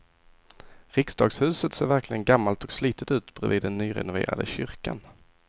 Riksdagshuset ser verkligen gammalt och slitet ut bredvid den nyrenoverade kyrkan.